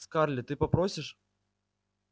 скарлетт ты попросишь